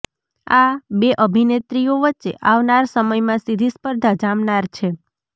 આ બે અભિનેત્રીઓ વચ્ચે આવનાર સમયમાં સીધી સ્પર્ધા જામનાર છે